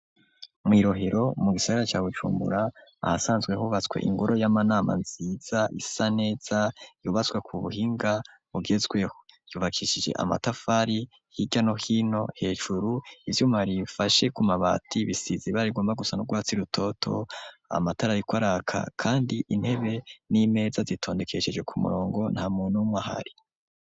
Mwi'rohero mu gisagara ca bujumbura ahasanzwe hubatswe ingoro y'amanama nziza isa neza yubatswe ku buhinga bugezweho yubakishije amatafari hirya no hino hejuru ivyuma bifashe ku mabati bisize ibara rigomba gusana n’urwatsi rutoto, amatara ariko araka kandi intebe n'imeza zitondekesheje ku murongo nta muntu numwe ahari.